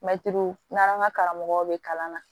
Mɛtiri n'an ka karamɔgɔw bɛ kalan na